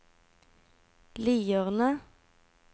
Lierne